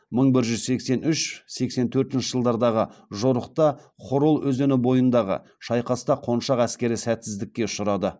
мың бір жүз сексен үш сексен төртінші жылдардағы жорықта хорол өзені бойындағы шайқаста қоншақ әскері сәтсіздікке ұшырады